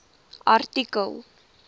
artikel